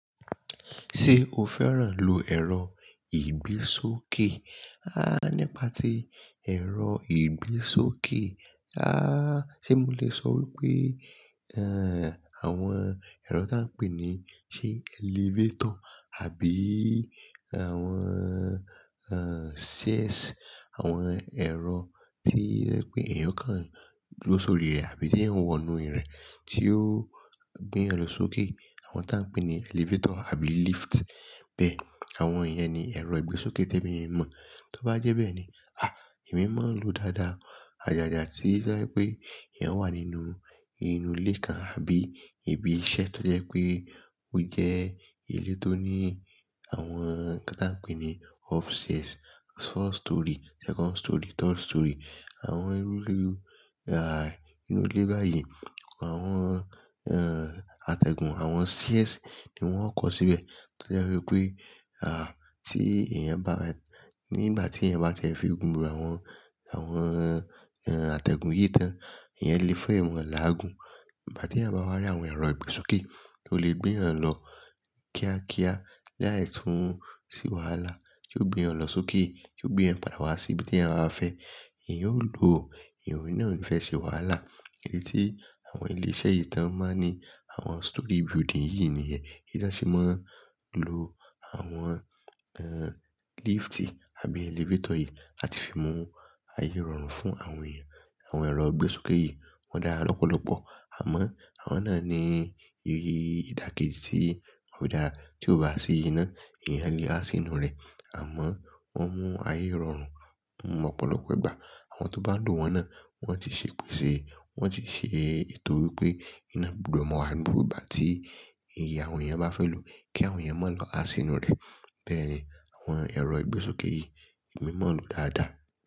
Ṣé o fẹ́ràn lo ẹ̀rọ ìbésókè? Há! Nípa ti ẹ̀rọ ìbésókè, há! Ṣé mo lè sọ wípé, ẹ́ẹ̀, àwọn ẹ̀rọ tí a ń pè ní, sé elevator àbí àwọn, ẹ́ẹ̀, stairs, àwọn ẹ̀rọ tí jẹ̀ pé èèyàn kan duro sórí rẹ̀ àbí tí ẹ̀eyan wọ inú rẹ̀ tí ó gbé eeyan lọ sókè. Àwọn tí a ń pè ní elevator àbí lift. Bẹ́ẹ̀, àwọn ìyẹn ni ẹ̀rọ ìgbésókè tí èmi mọ̀. Tó bá jẹ́ bẹ́ẹ̀ ni, à! Èmi máa ń lo dáadáa. Ajàjà tí jẹ́ pé eeyan wà nínú inú ilé kan àbí ibi iṣẹ́ tó jẹ́ pé ó jẹ́ ilé tó ní àwọn ká tá ń pè ní upstairs, first storey, second storey, third storey. Àwọn inú ìlú, à, inú ilé báyìí, àwọn, ẹ́ẹ̀, atẹ́gùn, àwọn stairs ni wọ́n ó kọ̀ síbẹ̀. Tó jẹ́ wípé, à, tí eeyan bá, nígbà tí eeyan bá jẹ́ fí gù n irú àwọn, àwọn, ẹ́ẹ̀, atẹ́gùn yí tán, ìyẹn lè fẹ́ ìwọ̀n làágùn. Nígbà tí eeyan bá wá rí àwọn ẹ̀rọ ìgbésókè tó lè gbé yan lọ kíákíá láì tún ṣe wàhálà, tí ó gbé yan lọ sókè, tí ó gbé yan padà wá sí ibi tí àwọn a fẹ́, eeyan yóò lo. Ìwọ̀n náà lò fẹ́ ṣe wàhálà. Èyí tí àwọn ilé iṣẹ́ yìí tán máa ń ní àwọn storey building yìí nìyẹn. Kí ìdásẹ́ máa ń lo àwọn, ẹ́ẹ̀, lift àbí elevator yìí láti fi mú ayé rọrùn fún àwọn èèyàn. Àwọn ẹ̀rọ ìgbésókè yìí wọ́n dára lọ́pọ̀lọpọ̀. Àmọ́ àwọn náà ní ee ìdàkejì tí ò dára. Tí o bá sí ina, eeyan lé a sí inú rẹ̀. Àmọ́ wọ́n mú ayé rọrùn ọ̀pọ̀lọpọ̀ ìgbà. Àwọn tó bá dun wọ́n náà wọ́n ti ṣekúṣe. Wọ́n ti ṣe ètò wípé iná gbùdó máa wà ní nígbà tí ìyè àwọn èèyàn bá fẹ́ lò kí àwọn èèyàn má lọ a sí inú rẹ̀. Bẹ́ẹ̀ni, àwọn ẹ̀rọ ìgbésókè yìí èmi máa ń lò dáadáa.